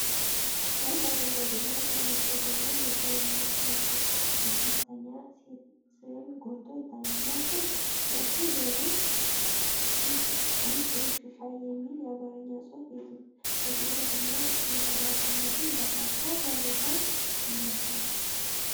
አንድ አረንጓዴ እና ቀይ ማሸጊያ ላይ የሻይ መከርተኛ ሴት ስዕል ጎልቶ ይታያል። ማሸጊያው ላይ "ውሽ ውሽ ሻይ" የሚለው የአማርኛ ጽሑፍ የትኩረት እና የኩራት ስሜትን ይፈጥራል፤ ጥራት ያለው ሻይ ይመስላል።